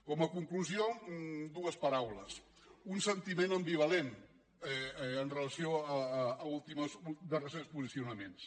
com a conclusió dues paraules un sentiment ambivalent amb relació als darrers posicionaments